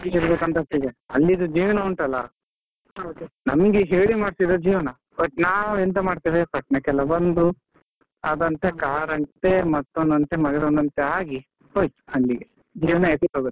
ಅಲ್ಲಿದ್ದು ಜೀವನ ಉಂಟಲ್ಲ, ನಮ್ಗೆ ಹೇಳಿ ಮಾಡ್ಸಿದ ಜೀವನ, but ನಾವು ಎಂತ ಮಾಡ್ತೇವೆ ಪಟ್ಣಕೆಲ್ಲ ಬಂದು, ಅದು ಅಂತೆ car ಅಂತೆ ಮತ್ತೊಂದಂತೆ ಮಗದೊಂದಂತೆ ಆಗಿ ಹೋಯಿತ್ ಅಲ್ಲಿಗೆ .